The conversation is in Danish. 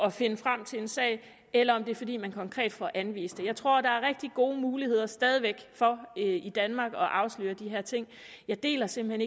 at finde frem til en sag eller om det er fordi man konkret får anvist det jeg tror der er rigtig gode muligheder stadig væk for i danmark at afsløre de her ting jeg deler simpelt